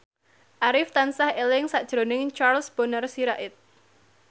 Arif tansah eling sakjroning Charles Bonar Sirait